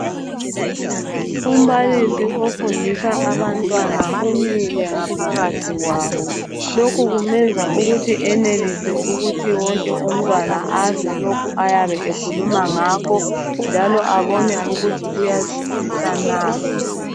Umbalisi ofundisa abantwana umile ngaphakathi kwabo. Lokhu kumenza ukuthi enelise ukuthi wonke umntwana azwe lokhu ayabe ekhuluma ngakho njalo abone ukuthi uyazwisisa na.